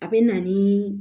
A bɛ na ni